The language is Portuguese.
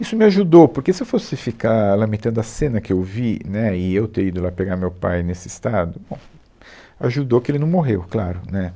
Isso me ajudou, porque se eu fosse ficar lamentando a cena que eu vi, né, e eu ter ido lá pegar meu pai nesse estado, bom, ajudou que ele não morreu, claro, né